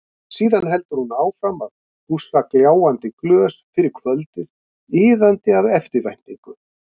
Síðan heldur hún áfram að pússa gljáandi glös fyrir kvöldið, iðandi af eftirvæntingu.